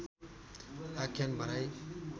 आख्यान भनाई